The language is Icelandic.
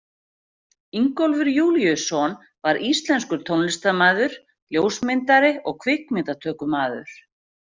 Ingólfur Júlíusson var íslenskur tónlistarmaður, ljósmyndari og kvikmyndatökumaður.